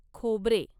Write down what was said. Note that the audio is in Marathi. खोबरे